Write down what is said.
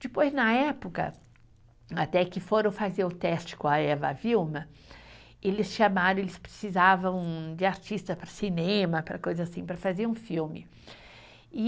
Depois, na época, até que foram fazer o teste com a Eva Vilma, eles chamaram, eles precisavam de artista para cinema, para coisa assim, para fazer um filme, e